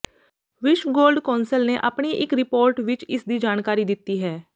ਵਿਸ਼ਵ gold council ਨੇ ਆਪਣੀ ਇੱਕ ਰਿਪੋਰਟ ਵਿੱਚ ਇਸਦੀ ਜਾਣਕਾਰੀ ਦਿੱਤੀ ਹੈ